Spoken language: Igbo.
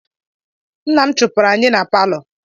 Nna m chụpụrụ anyị na palọ.